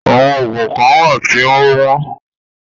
Àwọn oògùn kán wà tí o wọ́n.